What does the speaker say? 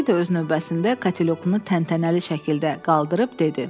Kişi də öz növbəsində katelyokunu təntənəli şəkildə qaldırıb dedi.